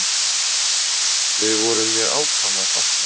Þau voru mér ákaflega þakklát.